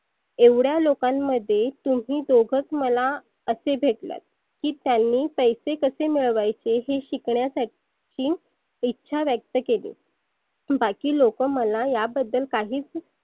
एवढ्या लोकांमध्ये तुम्ही दोघच मला असे भेटलात. की त्यांनी पैसे कसे मिळवायचे हे शिकण्यासाठी इच्छा व्यक्त केली. बाकी लोक मला या बद्दल काहीच